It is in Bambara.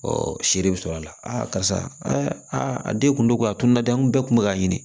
seere bɛ sɔrɔ a la karisa a den kun don a tun na dɛ n kun bɛɛ tun bɛ k'a ɲini